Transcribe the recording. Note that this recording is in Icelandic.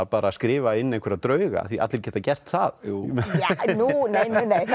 bara skrifa inn einhverja drauga því allir geta gert það nei nei nei það